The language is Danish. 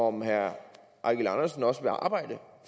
om herre eigil andersen også vil arbejde